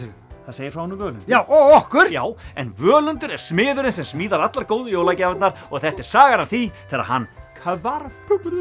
segir frá honum Völundi og okkur já en Völundur er smiðurinn sem smíðar allar góðu jólagjafirnar og þetta er sagan af því þegar hann hvarf